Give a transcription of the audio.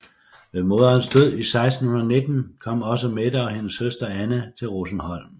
Ved moderens død i 1619 kom også Mette og hendes søster Anne til Rosenholm